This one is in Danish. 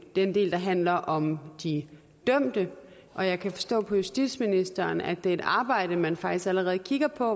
den del der handler om de dømte og jeg kan forstå på justitsministeren at det er et arbejde man faktisk allerede kigger på